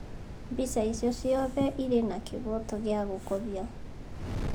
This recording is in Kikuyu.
Mbica icio ciothe irĩ na kĩhooto gĩa gũkobia.